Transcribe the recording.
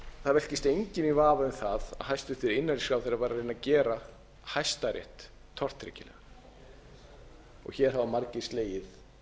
það velkist enginn í vafa um að hæstvirtur innanríkisráðherra var að reyna að gera hæstarétt tortryggilegan hér hafa margir slegið þær trumbur